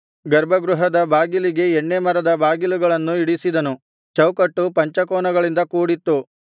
ಗರ್ಭಗೃಹದ ಬಾಗಿಲಿಗೆ ಎಣ್ಣೇ ಮರದ ಬಾಗಿಲುಗಳನ್ನು ಇಡಿಸಿದನು ಚೌಕಟ್ಟು ಪಂಚಕೋನಗಳಿಂದ ಕೂಡಿತ್ತು